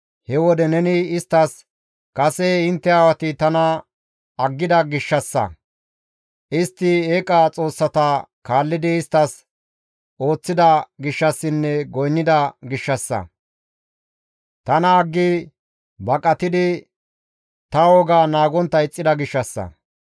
He wode neni isttas, ‹Kase intte aawati tana aggida gishshassa, istti eeqa xoossata kaallidi isttas ooththida gishshassinne goynnida gishshassa; tana aggi baqatidi ta wogaa naagontta ixxida gishshassa;